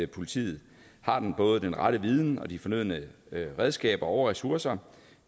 politiet har både den rette viden og de fornødne redskaber og ressourcer